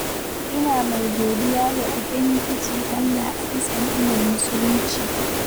Ina mai godiya ga Ubangiji Allah a bisa ni'imar muslinci.